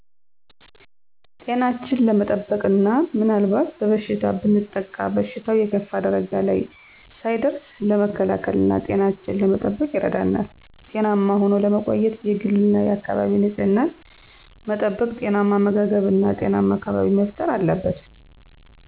ጤናችን ለመጠበቅና ምናልባት በበሽታ ብንጠቃ በሽታው የከፋ ደረጃ ላይ ሳይደርስ ለመከላከልና ጤናችን ለመጠበቅ ይረዳናል። ጤናማ ሆኖ ለመቆየት የግልና የአካባቢ ንፅህና መጠበቅ፣ ጤናማ አመጋገብ እና ጤናማ አካባቢ መፈጠር አለበት።